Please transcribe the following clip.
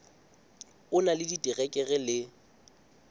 o na le diterekere le